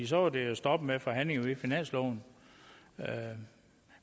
så var det jo stoppet med forhandlingerne om finansloven